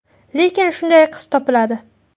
Lekin shunday qiz topiladi.